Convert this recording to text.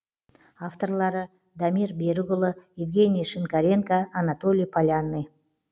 авторлары дамир берікұлы евгений шинкаренко анатолий полянный